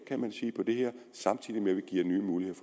kan man sige på det her samtidig med at vi giver nye muligheder